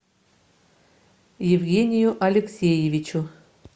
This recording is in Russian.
евгению алексеевичу